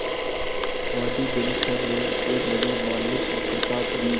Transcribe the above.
वादी बैरिस्टर ने एक बड़ी मार्मिक वक्तृता दी